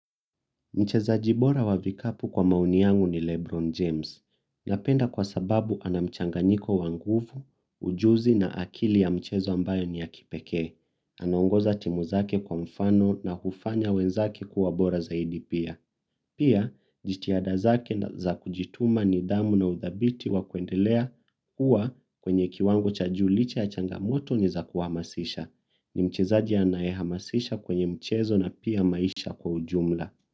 Mchezaji bora wa vikapu kwa maoni yangu ni Lebron James. Napenda kwa sababu ana mchanganyiko wa nguvu ujuzi na akili ya mchezo ambayo ni ya kipekee. Anaongoza timu zake kwa mfano na hufanya wenzake kuwa bora zaidi pia. Pia, jitiada zake za kujituma nidhamu na uthabiti wa kuendelea huwa kwenye kiwango cha juu licha ya changamoto ni za kuamasisha. Ni mchezaji anaye hamasisha kwenye mchezo na pia maisha kwa ujumla.